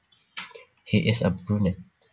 He is a brunet